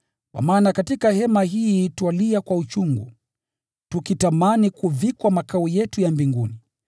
Katika hema hii twalia kwa uchungu, tukitamani kuvikwa makao yetu ya mbinguni,